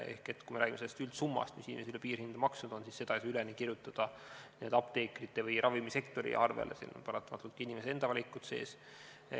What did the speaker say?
Ehk kui me räägime sellest üldsummast, mis inimesed on üle piirhinna maksnud, siis seda ei saa üleni kirjutada apteekrite või ravimisektori arvele, siin on paratamatult ka inimeste enda valikud sees.